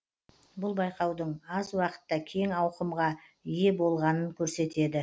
бұл байқаудың аз уақытта кең ауқымға ие болғанын көрсетеді